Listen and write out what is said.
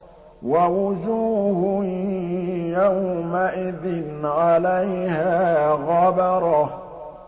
وَوُجُوهٌ يَوْمَئِذٍ عَلَيْهَا غَبَرَةٌ